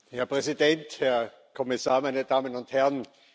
Herr Präsident, Herr Kommissar, meine Damen und Herren!